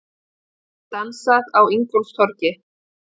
Dansað á Ingólfstorgi